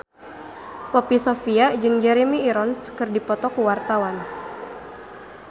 Poppy Sovia jeung Jeremy Irons keur dipoto ku wartawan